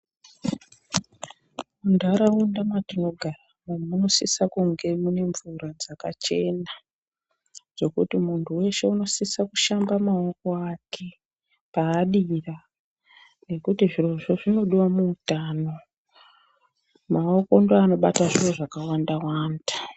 Munharaunda matinogara munosisa kunge muine mvura dzakachena dzekuti muntu wese unosisa kushamba maoko ake paadira nekuti zvirozvo zvinodiwa muutano maoko ndoanobata zviro zvakawanda wanda.